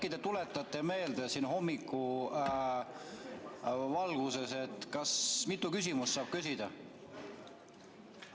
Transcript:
Äkki te tuletate meelde siin hommikuvalguses, mitu küsimust saab küsida?